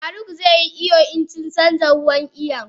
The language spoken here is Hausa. faruk ze yi iyo insuncanja ruwan iyon.